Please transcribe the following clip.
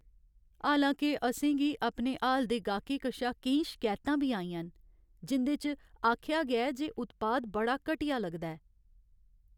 हालां के, असें गी अपने हाल दे गाह्कें कशा केईं शकैतां बी आइयां न जिं'दे च आखेआ गेआ ऐ जे उत्पाद बड़ा घटिया लगदा ऐ।